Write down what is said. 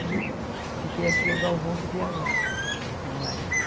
Aí eu fiquei aqui e o Galvão que viajava, meu marido.